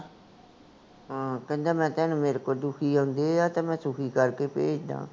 ਕਹਿੰਦਾ ਮੈਂ ਤਾਂ ਮੇਰੇ ਕੋਲ ਦੁਖੀ ਆਉਂਦੇ ਆ ਤੇ ਮੈਂ ਸੁਖੀ ਕਰ ਕੇ ਭੇਜਦਾ ਆ